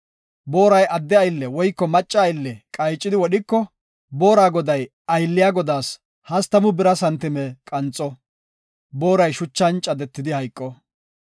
Booray adde aylle woyko macca aylle qaycidi wodhiko, boora goday aylliya godaas hastamu bira santime qanxo; booray shuchan caddetidi hayqo.